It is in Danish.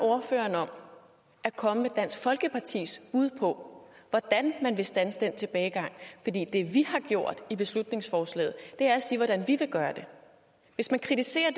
ordføreren om at komme med dansk folkepartis bud på hvordan man vil standse den tilbagegang det vi har gjort i beslutningsforslaget er at sige hvordan vi vil gøre det hvis man kritiserer